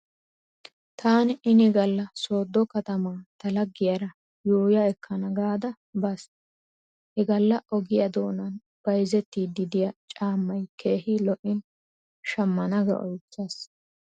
Taan ini galla sooddo katama ta laggiyaara yuuyya ekkana gaada baas. He galla ogiya doonan bayzettiiddi diya caammay keehi lo'in shammana ga oychchaas.